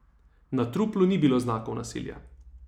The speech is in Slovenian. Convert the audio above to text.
Na truplu ni bilo znakov nasilja.